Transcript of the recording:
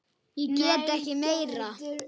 Ég get ekki meira.